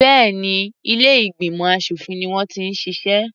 Béèni ilé ìgbìmọ̀ aṣòfin ni wọ́n ti ń ṣiṣẹ́.